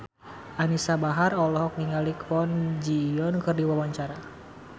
Anisa Bahar olohok ningali Kwon Ji Yong keur diwawancara